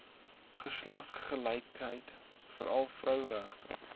geslagsgelykheid veral vroueregte